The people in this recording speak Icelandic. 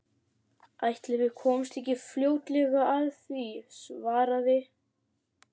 Ætli við komumst ekki fljótlega að því- svaraði